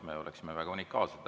Me oleksime sel juhul unikaalsed.